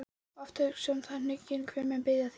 og hugsa oft um það hnugginn, hver muni biðja þín.